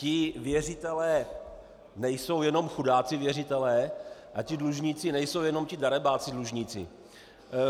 Ti věřitelé nejsou jenom chudáci věřitelé a ti dlužníci nejsou jenom ti darebáci dlužníci.